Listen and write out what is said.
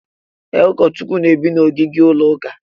E, Ụkọchukwu n'ebi na ogige ụlọ ụka